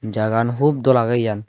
Jagagan hoop dol age yan.